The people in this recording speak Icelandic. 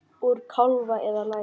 Úr kálfa eða læri!